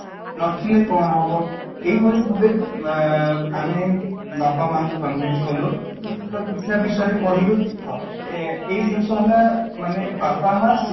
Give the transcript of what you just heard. ନଥିଲେ କ'ଣ ହବ ? ଏଇ ଭଳି ଭାବେ ଅଂ ଆମେ ବାପା ମା ଙ୍କୁ convince କଲୁ ତ କିଛି ଟା ବିଷୟରେ କହିଲୁ ଏଇ ଜିନିଷ ହେଲେ ମାନେ ବାପା ମାଆ ଶିକ୍ଷା